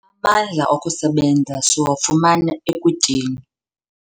Amandla okusebenza siwafumana ekutyeni.